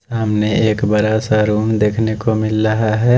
सामने एक बड़ा सा रूम देखने को मिल लहा है।